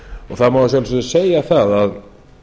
það má í sjálfu sér segja að